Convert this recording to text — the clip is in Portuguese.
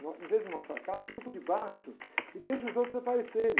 Em vez de mostrar a cara, fica por debaixo e deixa os outros aparecerem.